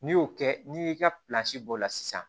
N'i y'o kɛ n'i y'i ka bɔ o la sisan